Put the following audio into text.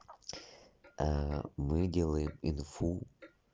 мы делаем инфу